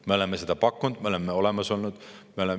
Me oleme oma variante pakkunud, me oleme olemas olnud.